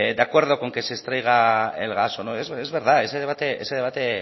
de acuerdo con que se extraiga el gas o no es verdad ese debate ese debate